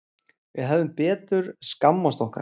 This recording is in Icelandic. Við hefðum betur skammast okkar.